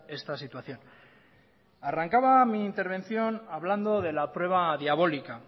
esta situación arrancaba mi intervención hablando de la prueba diabólica